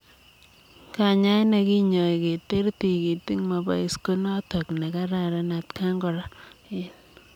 Kanyaet nekinyoi keteer tigitik mapois konotok nekararan atkaan koraa eng